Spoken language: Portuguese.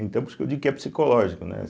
Então, por isso que eu digo que é psicológico, né?